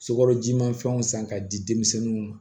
Sukaro jimafɛnw san k'a di denmisɛnninw ma